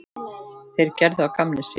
Þeir gerðu að gamni sínu.